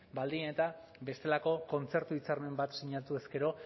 baldin eta bestelako kontzertu hitzarmen bat sinatuz gero